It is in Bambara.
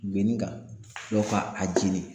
Guenni kan ka a jeni.